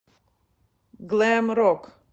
глэм рок